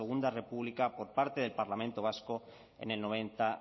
segundo república por parte del parlamento vasco en el noventa